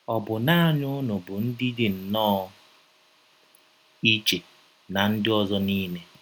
Ọ bụ naanị ụnụ bụ ndị dị nnọọ iche ná ndị ọzọ niile. ”